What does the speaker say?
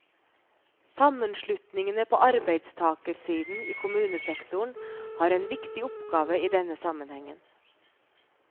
Sammenslutningene på arbeidstakersiden i kommunesektoren har en viktig oppgave i denne sammenhengen.